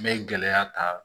N bɛ gɛlɛya ta